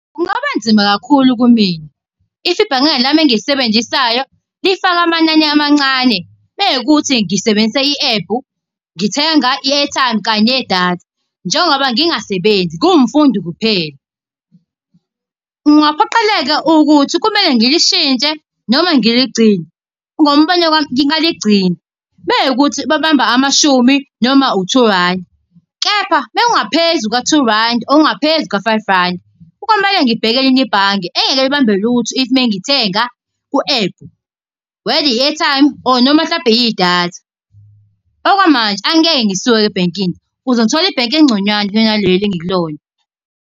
Kungaba nzima kakhulu kumina, if ibhange lami engilisebenzisayo lifake amanani amancane mekuwukuthi ngisebenzisa i-ephu, ngithenga i-airtime kanye nedatha. Njengoba ngingasebenzi ngumfundi kuphela. kungaphoqeleka ukuthi kumele ngilishintshe noma ngiligcine, ngombono wami ngingaligcina, mekuwukuthi babamba amashumi noma u two randi. Kepha mekungaphezu ka-two rand ongaphezu ka-five rand, komele ngibheke elinye ibhange engeke libambe lutho if mengithenga ku-ephu whetheri-airtime or noma mhlampe idatha. Okwamanje angeke ngisuke ebhekini ukuze ngithole ibhenki, engconywana kunaleli engikulona.